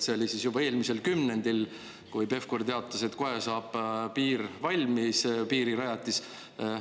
See oli juba eelmisel kümnendil, kui Pevkur teatas, et kohe saab piir valmis, piirirajatis.